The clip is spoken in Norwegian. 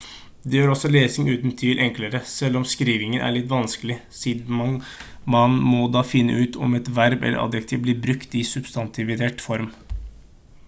det gjør også lesingen uten tvil enklere selv om skrivingen er litt vanskelig siden man da må finne ut om et verb eller adjektiv blir brukt i substantivert form